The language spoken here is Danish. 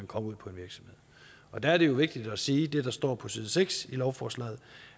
kom ud på en virksomhed og der er det jo vigtigt at sige det der står på side seks i lovforslaget